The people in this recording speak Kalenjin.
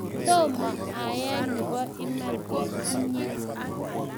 tomo aek nebo iman eng' inye